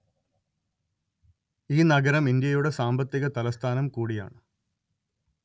ഈ നഗരം ഇന്ത്യയുടെ സാമ്പത്തിക തലസ്ഥാനം കൂടിയാണ്‌